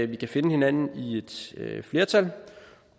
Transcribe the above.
vi kan finde hinanden i et flertal